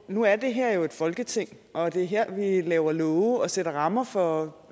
nu er det her jo et folketing og det er her at vi laver love og sætter rammer for